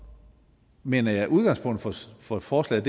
mener jeg at udgangspunktet for forslaget